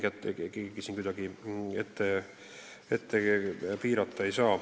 Keegi siin kedagi piirata ei saa.